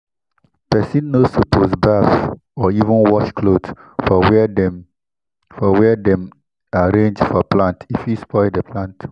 pesin no suppose baff or even wash cloth for where dem for where dem arrange for plant e fit spoil di plant